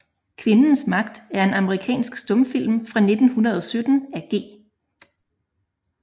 Kvindens magt er en amerikansk stumfilm fra 1917 af G